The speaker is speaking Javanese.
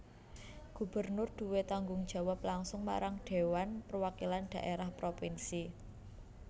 Gubernur duwé tanggung jawab langsung marang Dhéwan Perwakilan Dhaérah Propinsi